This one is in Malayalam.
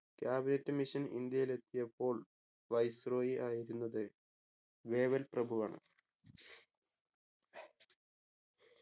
cabinet mission ഇന്ത്യയിലെത്തിയപ്പോൾ viceroy ആയിരുന്നത് വേവൽ പ്രഭു ആണ്